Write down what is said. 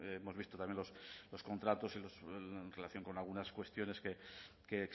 hemos visto también los contratos en relación con algunas cuestiones que